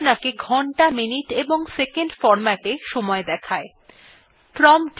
এইটি আমাদেরকে ঘন্টা minutes এবং seconds hh: mm: ss ফরম্যাটএ সময় দেখায়